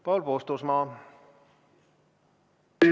Paul Puustusmaa!